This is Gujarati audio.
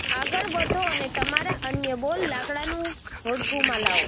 આગળ વધો અને તમારા અન્ય બોલ લાકડાનું હોડકું માં લાવો